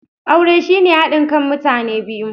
Aure shine hadin kan mutane biyu.